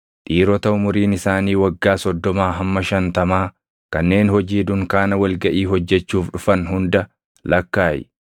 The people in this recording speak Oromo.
Dhiirota umuriin isaanii waggaa soddomaa hamma shantamaa kanneen hojii dunkaana wal gaʼii hojjechuuf dhufan hunda lakkaaʼi.